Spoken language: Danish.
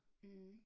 Mh